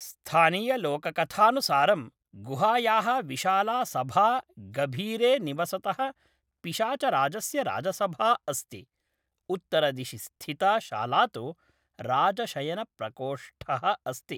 स्थानीयलोककथानुसारं, गुहायाः विशाला सभा गभीरे निवसतः पिशाचराजस्य राजसभा अस्ति, उत्तरदिशि स्थिता शाला तु राजशयनप्रकोष्ठः अस्ति।